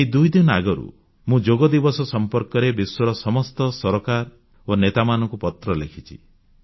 ଏଇ ଦୁଇଦିନ ଆଗରୁ ମୁଁ ଯୋଗଦିବସ ସମ୍ପର୍କରେ ବିଶ୍ୱର ସମସ୍ତ ସରକାର ଓ ନେତାମାନଙ୍କୁ ପତ୍ର ଲେଖିଛି